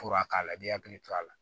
Fura k'a la i b'i hakili to a la